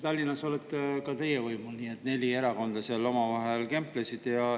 Tallinnas olete ka teie võimul, neli erakonda kemplesid seal omavahel.